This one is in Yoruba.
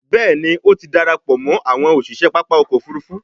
Béèni o tí darapọ̀ mọ àwọn òṣiṣẹ pápá ọkọ̀-òfurufú.